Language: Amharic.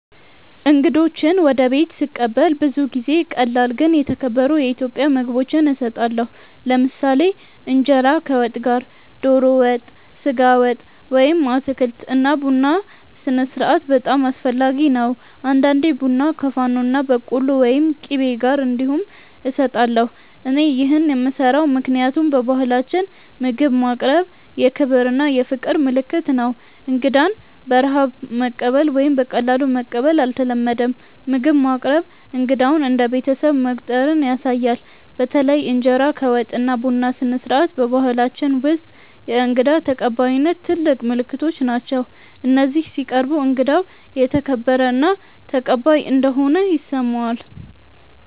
እንግዶችን ወደ ቤት ስቀበል ብዙ ጊዜ ቀላል ግን የተከበሩ የኢትዮጵያ ምግቦች እሰጣለሁ። ለምሳሌ እንጀራ ከወጥ ጋር (ዶሮ ወጥ፣ ስጋ ወጥ ወይም አትክልት) እና ቡና ስነስርዓት በጣም አስፈላጊ ነው። አንዳንዴ ቡና ከፋኖና በቆሎ ወይም ቂቤ ጋር እንዲሁም እሰጣለሁ። እኔ ይህን የምሰራው ምክንያቱም በባህላችን ምግብ ማቅረብ የክብር እና የፍቅር ምልክት ነው። እንግዳን በረሃብ ማቀበል ወይም በቀላሉ መቀበል አይተለመድም፤ ምግብ ማቅረብ እንግዳውን እንደ ቤተሰብ መቆጠር ያሳያል። በተለይ እንጀራ ከወጥ እና ቡና ስነስርዓት በባህላችን ውስጥ የእንግዳ ተቀባይነት ትልቅ ምልክቶች ናቸው፤ እነዚህ ሲቀርቡ እንግዳው ተከበረ እና ተቀባይ እንደሆነ ይሰማዋል።